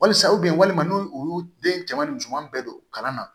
Walisa walima n'o ye u y'u den cɛman ni musoman bɛɛ don kalan na